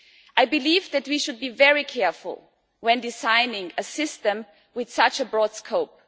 I believe that we should be very careful when designing a system with such a broad scope.